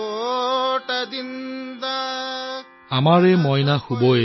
টোপনি যোৱা মোৰ সোণ